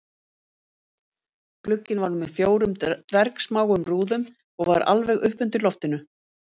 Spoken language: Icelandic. Glugginn var með fjórum dvergsmáum rúðum og var alveg uppi undir loftinu